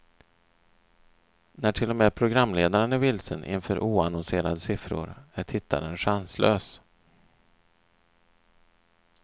När till och med programledaren är vilsen inför oannonserade siffror är tittaren chanslös.